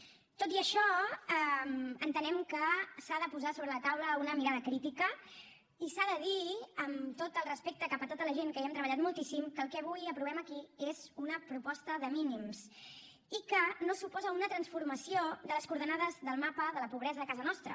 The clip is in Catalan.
tot i això entenem que s’ha de posar sobre la taula una mirada crítica i s’ha de dir amb tot el respecte cap a tota la gent que hi hem treballat moltíssim que el que avui aprovem aquí és una proposta de mínims i que no suposa una transformació de les coordenades del mapa de la pobresa a casa nostra